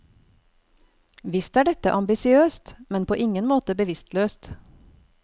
Visst er dette ambisiøst, men på ingen måte bevisstløst.